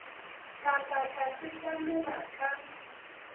ka ka ka sekamela ka